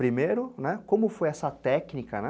Primeiro, né, como foi essa técnica, né?